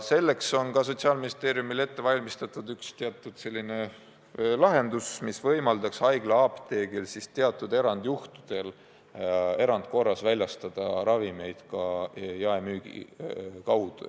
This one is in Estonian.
Selleks on Sotsiaalministeeriumil ette valmistatud üks lahendus, mis võimaldaks haiglaapteegil teatud erandjuhtudel erandkorras väljastada ravimeid ka jaemüügi kaudu.